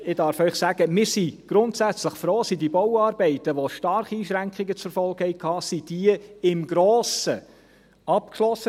Und ich darf Ihnen sagen: Wir sind grundsätzlich froh, sind die Bauarbeiten, die starke Einschränkungen zur Folge hatten, im Grossen abgeschlossen.